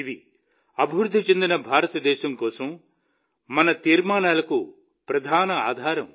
ఇది అభివృద్ధి చెందిన భారతదేశం కోసం మన తీర్మానాలకు ప్రధాన ఆధారం